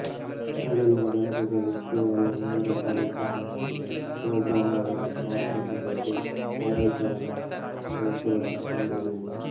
ಮೊದಲಿನ ಗಣಕಗಳು ಕೇವಲ ನೇರ ಕಾರ್ಯಾಚರಣೆಯ ಪ್ರೋಗ್ರಾಂಗಳನ್ನು ಮಾತ್ರ ಹೊಂದಿದ್ದು ಕಾರ್ಯಾಚರಣಾ ವ್ಯವಸ್ಥೆಗಳನ್ನು ಹೊಂದಿರಲಿಲ್ಲ